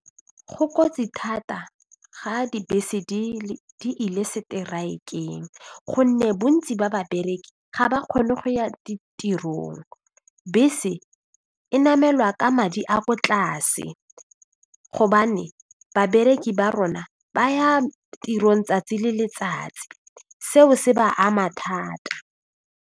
Go kotsi thata ga dibese di ile strike-ng gonne bontsi ba babereki ga ba kgone go ya ditirong, bese e namelwa ka madi a ko tlase gobane babereki ba rona ba ya tirong tsatsi le letsatsi seo se ba ama thata.